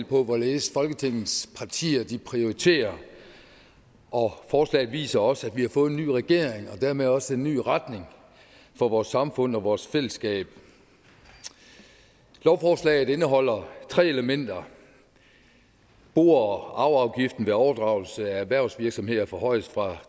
på hvorledes folketingets partier prioriterer og forslaget viser også at vi har fået en ny regering og dermed også en ny retning for vores samfund og vores fællesskab lovforslaget indeholder tre elementer bo og arveafgiften ved overdragelse af erhvervsvirksomheder forhøjes fra